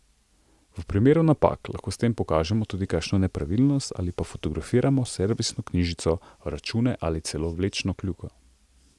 V primeru napak lahko s tem pokažemo tudi kakšno nepravilnost ali pa fotografiramo servisno knjižico, račune ali celo vlečno kljuko.